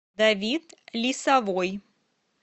давид лисовой